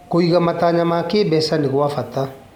Kũiga matanya ma kĩmbeca nĩ gwa bata.